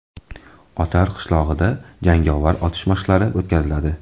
Otar qishlog‘ida jangovar otish mashqlari o‘tkaziladi.